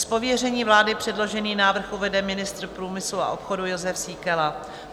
;Z pověření vlády předložený návrh uvede ministr průmyslu a obchodu Jozef Síkela.